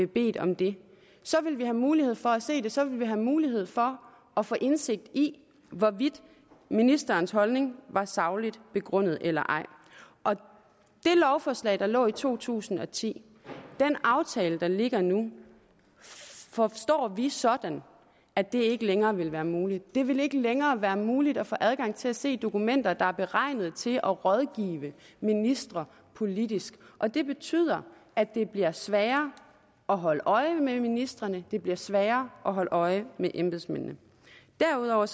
bedt om det så ville vi have mulighed for at se det så ville vi have mulighed for at få indsigt i hvorvidt ministerens holdning var sagligt begrundet eller ej det lovforslag der lå i to tusind og ti den aftale der ligger nu forstår vi sådan at det ikke længere vil være muligt det vil ikke længere være muligt at få adgang til at se dokumenter der er beregnet til at rådgive ministre politisk og det betyder at det bliver sværere at holde øje med ministrene det bliver sværere at holde øje med embedsmændene derudover